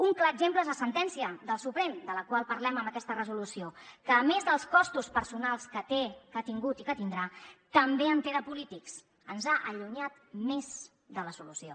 un clar exemple és la sentència del suprem de la qual parlem en aquesta resolució que a més dels costos personals que té que ha tingut i que tindrà també en té de polítics ens ha allunyat més de la solució